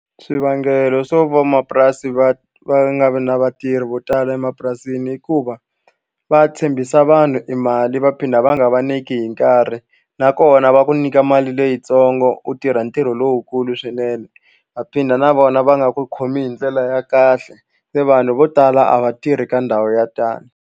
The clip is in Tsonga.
Swivangelo swo vamapurasi va va nga vi na vatirhi vo tala emapurasini i ku va va tshembisa vanhu i mali va phinda va nga va nyiki hi nkarhi nakona va ku nyika mali leyitsongo u tirha ntirho lowukulu swinene va phinda na vona va nga ku khomi hi ndlela ya kahle se vanhu vo tala a va tirhi ka ndhawu ya tano.